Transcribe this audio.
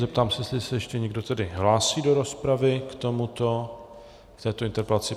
Zeptám se, jestli se ještě někdo tedy hlásí do rozpravy k této interpelaci.